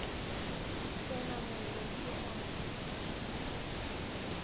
se na mollo ke a